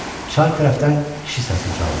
Çay tərəfdən kişi səsi ucaldı.